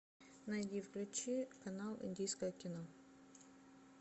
найди включи канал индийское кино